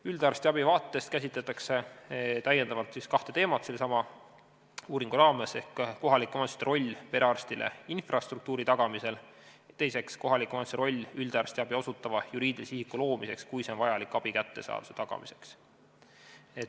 Üldarstiabi vaatest käsitletakse sellesama uuringu raames kahte teemat: esiteks, kohalike omavalitsuste roll perearstile infrastruktuuri tagamisel, ja teiseks, kohaliku omavalitsuse roll üldarstiabi osutava juriidilise isiku loomiseks, kui see on vajalik abi kättesaadavuse tagamiseks.